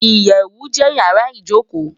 Iyèwú jè iyàrá ijókó